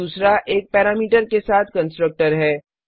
दूसरा एक पैरामीटर के साथ कंस्ट्रक्टर है